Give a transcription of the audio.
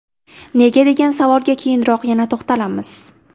Nega degan savolga keyinroq yana to‘xtalamiz.